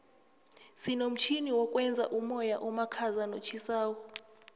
sinomtjhini wokwenza umoya omakhaza notjhisako